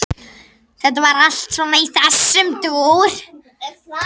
Þetta var svona allt í þessum dúr.